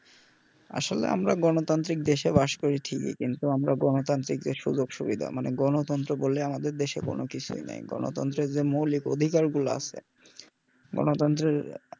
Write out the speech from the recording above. আসলে আমরা গণতান্ত্রিক দেশে বাস করি ঠিকই কিন্তু আমরা গণতান্ত্রিক দেশে যে সুযোগ সুবিধা মানে গণতন্ত্র বলে আমাদের দেশে কোনও কিছুই নেই গণতন্ত্রের যে মৌলিক অধিকারগুলো আছে গণতন্ত্রের